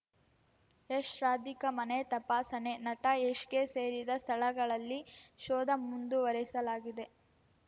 ಯಶ್‌ ರಾಧಿಕಾ ಮನೆ ತಪಾಸಣೆ ನಟ ಯಶ್‌ಗೆ ಸೇರಿದ ಸ್ಥಳಗಳಲ್ಲಿ ಶೋಧ ಮುಂದುವರಿಸಲಾಗಿದೆ